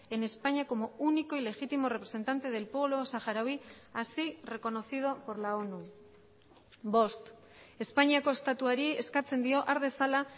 en españa como único y legítimo representante del pueblo saharaui así reconocido por la onu bost espainiako estatuari eskatzen dio har dezala